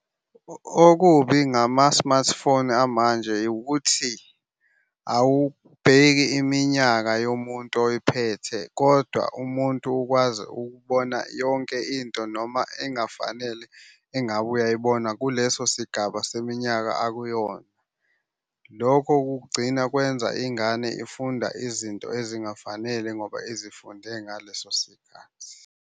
Okubi ngama-smartphone amanje ukuthi awubheki iminyaka yomuntu oyiphethe kodwa umuntu ukwazi ukubona yonke into noma engafanele engabe uyayibona kuleso sigaba seminyaka akuyona. Lokho kugcina kwenza ingane ifunda izinto ezingafanele ngoba izifunde ngaleso sikhathi.